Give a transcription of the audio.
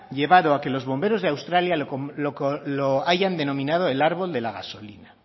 llevado a que los bomberos de australia lo hayan denominado el árbol de la gasolina